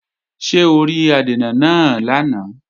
Ṣé o rí adènà náà lánàá?